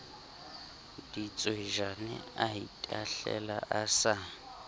ditswejane a itahlela a sa